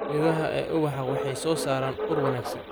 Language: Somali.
Midhaha ee ubax waxay soo saaraan ur wanaagsan.